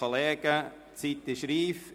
Die Zeit ist reif.